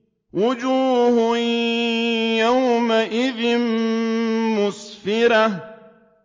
وُجُوهٌ يَوْمَئِذٍ مُّسْفِرَةٌ